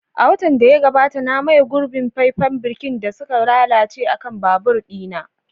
A watan da ya gabata, na maye gurbin faifen birkin da suka lalace akan babur ɗina.